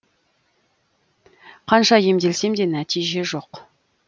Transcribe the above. қанша емделсем де нәтиже жоқ